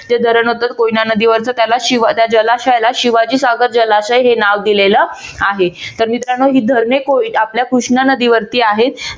ते धरण होत कोयना नदीवरच त्याला त्या जलाशयाला शिवाजीनगर जलाशय हे नाव दिलेलं आहे. तर मित्रांनो ही धरणे आपल्या कृष्णा नदीवरती आहेत.